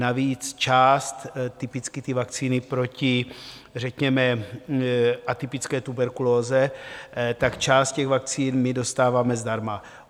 Navíc část, typicky ty vakcíny proti řekněme atypické tuberkulóze, tak část těch vakcín my dostáváme zdarma.